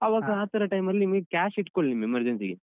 ಅವಾಗ ಆತರ time ಅಲ್ಲಿ ನಿಮ್ಗೆ cash ಇಟ್ಕೊಳಿ ನಿಮ್ emergency ಗೆ.